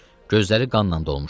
Gözləri qanla dolmuşdu.